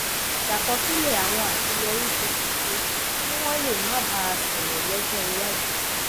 ṣàkọsílè àwọn àṣeyọrí tó ti ṣe kí wón lè máa bá a sòrò lójó iwájú